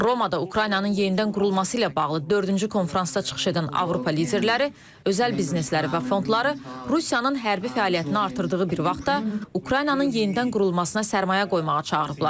Romada Ukraynanın yenidən qurulması ilə bağlı dördüncü konfransda çıxış edən Avropa liderləri, özəl biznesləri və fondları Rusiyanın hərbi fəaliyyətini artırdığı bir vaxtda Ukraynanın yenidən qurulmasına sərmayə qoymağa çağırıblar.